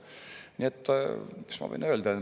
Nii et, mis ma võin öelda.